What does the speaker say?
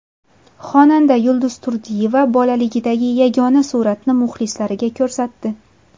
Xonanda Yulduz Turdiyeva bolaligidagi yagona suratni muxlislariga ko‘rsatdi.